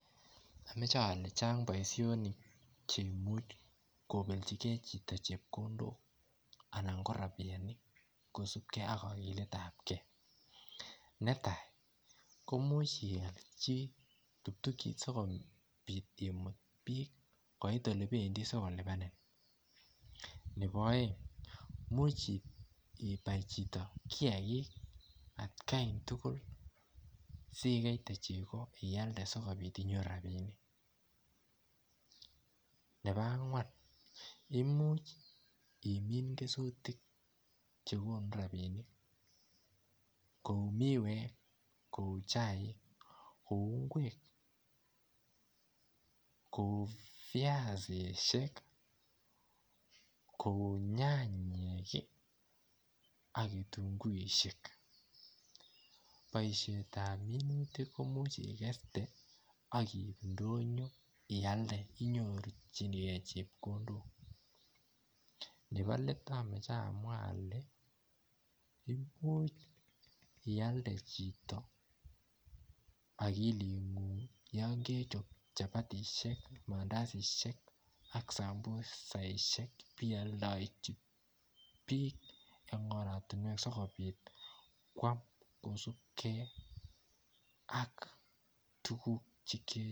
Amache ale chaang boisionik che imuuch kobeljigei chito chepkondook anan ko rapiet kosupkei ak aliet ab kei netai komuuch iyal chitoo tuktukiit sikobiit imuuch imuutu biik koit ole bendii sikomuuch ko lipanin nebo aeng imuuch ibai chitoo kiagik at Kai tugul sigei chego iayalde sikobiit inyoruu rapinik nebo angween imuuch imiin kesutiik che konuu rapinik kouu midweek kou chaik kou ngweek kou biasiisiek kou nyanyek ii ak kitunguishek boisiet ab minutik komuuch igerte ak ndonyo komuchei igerte nebo let Amache amwa ale iyalde chitoo akilit nguung yaan kechaap chapatisiek, mandaziziek ibe yaldejini biik eng oratinweek sikobiit kwaam kosupkei ak tuguuk chekere.